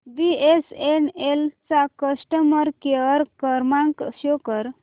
BSNL चा customer care क्रमांक show कर